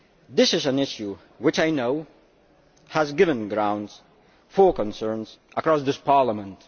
This is an issue which I know has given grounds for concern across this Parliament.